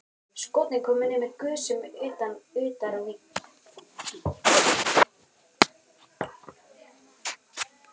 Skotin komu niður með gusum utar á víkinni.